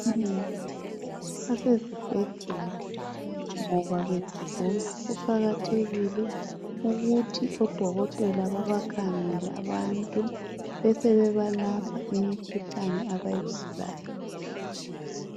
Abantu abanengi besesibhedlela ngoba begula. Kuqakathekile ukuthi odokotela babakhangele abantu besebebalapha imikhuhlane abayigulayo.